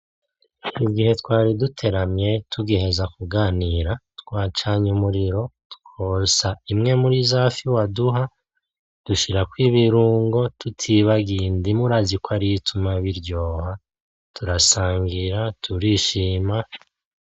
Igihe twari duteramye tugiheza kuganira ,twacanye umuriro, twotsa imwe muri zafi waduha, dushirako ibirungo tutibagiye indimu urazi ko Aariyo ituma biryoha, turasangira turishima.